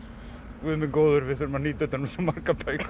guð minn góður við þurfum að nýta utan um svo margar bækur